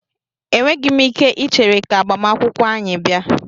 Enweghị m ike ichere ka agbamakwụkwọ anyị bịa.